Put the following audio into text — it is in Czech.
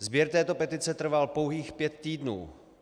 Sběr této petice trval pouhých pět týdnů.